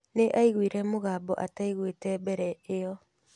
Nĩ aaiguire mũgambo ataiguĩte mbere ĩyo.